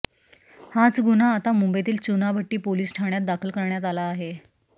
हाच गुन्हा आता मुंबईतील चुनाभट्टी पोलीस ठाण्यात दाखल करण्यात आला आहे